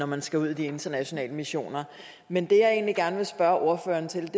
man skal ud i de internationale missioner men det jeg egentlig gerne vil spørge ordføreren til